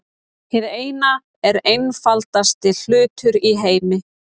Hið Eina er einfaldasti hlutur í heimi.